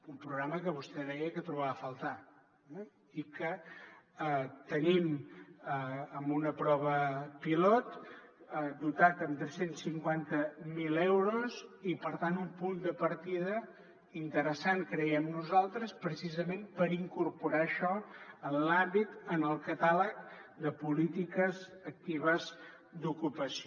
un programa que vostè deia que trobava a faltar i que tenim amb una prova pilot dotat amb tres cents i cinquanta miler euros i per tant un punt de partida interessant creiem nosaltres precisament per incorporar això en l’àmbit en el catàleg de polítiques actives d’ocupació